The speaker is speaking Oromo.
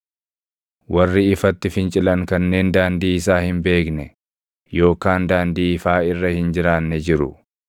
“Warri ifatti fincilan kanneen daandii isaa hin beekne yookaan daandii ifaa irra hin jiraanne jiru.